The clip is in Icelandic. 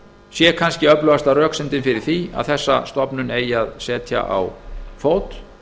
sé kannski öflugasta röksemdin fyrir því að þessa stofnun eigi að setja á fót